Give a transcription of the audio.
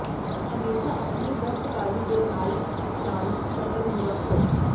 ਹਮੇਸ਼ਾਂ ਆਪਣੀ ਦਸਤਕਾਰੀ ਦੇ ਨਾਲ ਨਾਲ ਸ਼ੱਟਲ ਨੂੰ ਰੱਖੋ